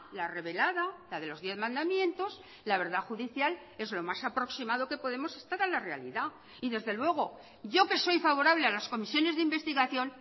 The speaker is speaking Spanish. la revelada la de los diez mandamientos la verdad judicial es lo más aproximado que podemos estar a la realidad y desde luego yo que soy favorable a las comisiones de investigación